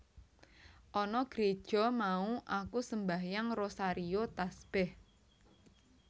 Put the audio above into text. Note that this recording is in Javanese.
Ana Gréja mau aku sembahyang rosario tasbèh